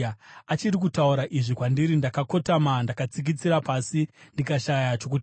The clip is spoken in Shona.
Achiri kutaura izvi kwandiri, ndakakotama ndakatsikitsira pasi ndikashaya chokutaura.